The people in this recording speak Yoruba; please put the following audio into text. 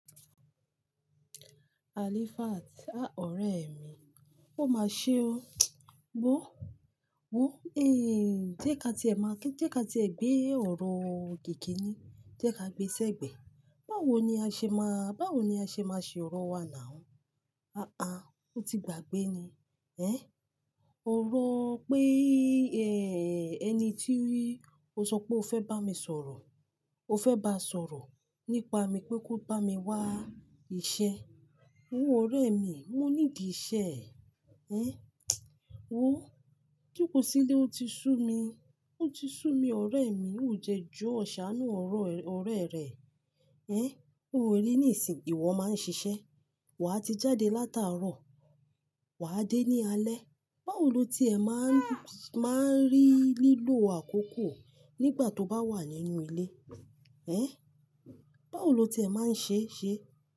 Alifat, a ọ̀rẹ́ mi, o ma ṣe o. Wó, wó, eh jẹ́ ká tí ẹ máa kí, jẹ́ ká tí ẹ gbé ọ̀rọ̀ gẹ́kìní, jẹ́ ká gbe sẹ́gbẹ̀ẹ́. Báwo ni a ṣe máa, báwo ni a ṣe máa ṣe ọ̀rọ̀ wa nàá? Aàá, ó ti gbàgbé ni. Ẹ́? Ọ̀rọ̀ pé eh ẹni tí rí, o sọ pé o fẹ́ bá mi sọ̀rọ̀, o fẹ́ bá sọ̀rọ̀ nípa mi pé kó bá mi wá iṣẹ́. Ó ń ọ̀rẹ́ mi, mó nídi iṣẹ́. Ẹ́? Wo, jókòó sílé ó ti sú mi, ó ti sú mi ọ̀rẹ́ mi ó dẹ́ joo saanu ọ̀rẹ́ rẹ. Ẹ́? Ó wò ó rí ní ìsìn, ìwọ máa ń ṣiṣẹ́, wà á ti jáde látàárọ̀, wà á dé ní alẹ́. Báwo lo tí ẹ máa ń, máa ń rí lílò àkókò nígbà tó bá wà nínú ilé? Ẹ́? Báwo lo tí ẹ máa ń ṣe iṣẹ́?